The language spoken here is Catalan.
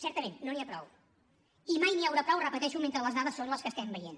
certament no n’hi ha prou i mai n’hi haurà prou ho repeteixo mentre les dades són les que estem veient